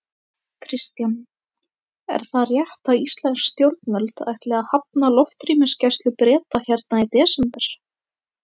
Kristján: Er það rétt að íslensk stjórnvöld ætli að hafna loftrýmisgæslu Breta hérna í desember?